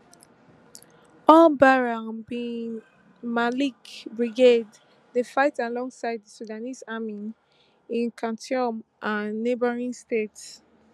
albaraa bin malik brigade dey fight alongside di sudanese army in khartoum and neighbouring states